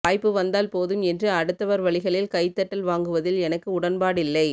வாய்ப்பு வந்தால் போதும் என்று அடுத்தவர் வலிகளில் கைத்தட்டல் வாங்குவதில் எனக்கு உடன்பாடில்லை